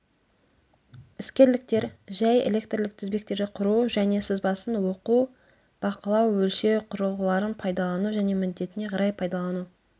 іскерліктер жәй электрлік тізбектерді құру және сызбасын оқу бақылау өлшеу құрылғыларын пайдалану және міндетіне қарай пайдалану